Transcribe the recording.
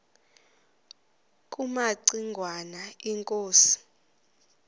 kumaci ngwana inkosi